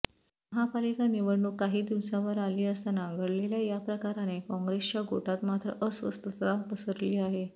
महापालिका निवडणूक काही दिवसांवर आली असताना घडलेल्या या प्रकाराने काँग्रेसच्या गोटात मात्र अस्वस्थता पसरली आहे